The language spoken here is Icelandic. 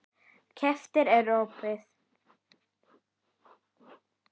Kerfið er opið.